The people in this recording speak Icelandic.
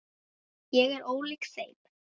Ég er ólík þeim.